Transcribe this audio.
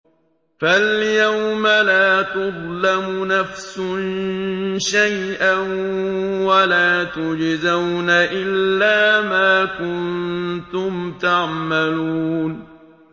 فَالْيَوْمَ لَا تُظْلَمُ نَفْسٌ شَيْئًا وَلَا تُجْزَوْنَ إِلَّا مَا كُنتُمْ تَعْمَلُونَ